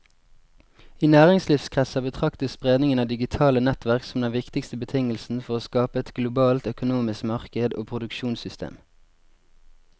I næringslivskretser betraktes spredningen av digitale nettverk som den viktigste betingelsen for å skape et globalt økonomisk marked og produksjonssystem.